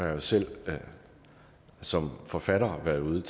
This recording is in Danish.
jo selv som forfatter været ude